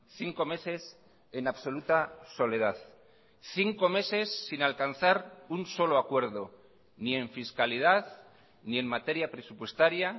cinco meses en absoluta soledad cinco meses sin alcanzar un solo acuerdo ni en fiscalidad ni en materia presupuestaria